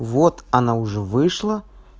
вот она уже вышла